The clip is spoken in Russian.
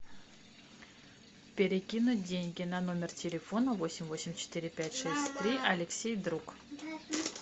перекинуть деньги на номер телефона восемь восемь четыре пять шесть три алексей друг